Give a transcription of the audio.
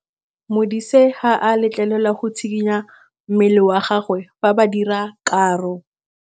Modise ga a letlelelwa go tshikinya mmele wa gagwe fa ba dira karô.